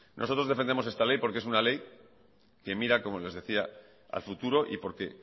nosotros defendemos esta ley porque es una ley que mira como les decía al futuro y porque